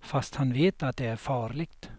fast han vet att det är farligt.